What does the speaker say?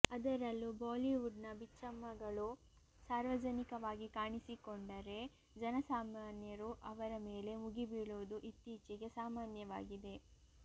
ಅದರಲ್ಲೂ ಬಾಲಿವುಡ್ನ ಬಿಚ್ಚಮ್ಮಗಳು ಸಾರ್ವಜನಿಕವಾಗಿ ಕಾಣಿಸಿಕೊಂಡರೆ ಜನಸಾಮಾನ್ಯರು ಅವರ ಮೇಲೆ ಮುಗಿಬೀಳುವುದು ಇತ್ತೀಚೆಗೆ ಸಾಮಾನ್ಯವಾಗಿದೆ